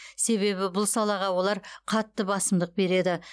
себебі бұл салаға олар қатты басымдық береді